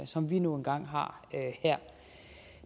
som vi nu engang har her